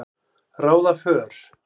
ráða för.